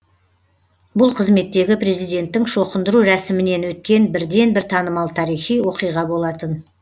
бұл қызметтегі президенттің шоқындыру рәсімінен өткен бірден бір танымал тарихи оқиға болатын